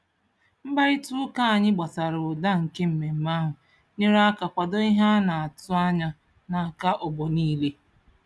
Mkparịtaụka ụka anyị gbasara ụda nke mmemme ahụ nyere aka kwado ihe a na-atụ anya n'aka ọgbọ niile.